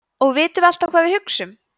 og vitum við alltaf hvað við hugsum